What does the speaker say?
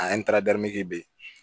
be yen